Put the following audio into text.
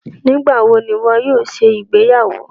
Nígbàwọ̀ ni iwọ yóò ṣẹ igbeyàwó?